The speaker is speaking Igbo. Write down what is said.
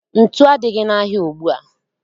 Ntu adịghị n'ahịa ugbua